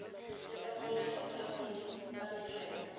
lefapha la dikgwebo le madirelo